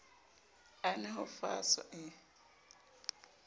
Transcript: a nwe ho faswa e